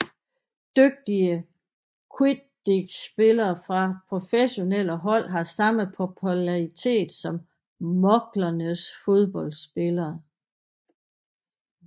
Dygtige quidditchspillere fra professionelle hold har samme popularitet som mugglernes fodboldspillere